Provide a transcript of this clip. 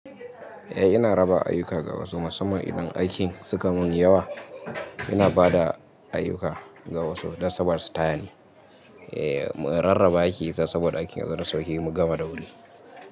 Eh ina raba ayyuka ga wasu, musamman idan aikin suka mun yawa ina bada ayyuka ga wasu don sabada su tayani. Eh mun rarraba aiki saboda aikin ya zo da sauki, mu gama da wuri.